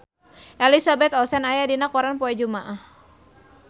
Elizabeth Olsen aya dina koran poe Jumaah